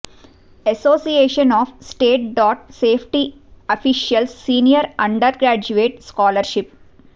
association of state dam safety officials senior undergraduate scholarship